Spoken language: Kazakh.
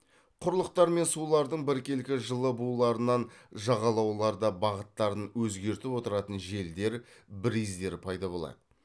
құрлықтар мен сулардың біркелкі жылы буларынан жағалауларда бағыттарын өзгертіп отыратын желдер бриздер пайда болады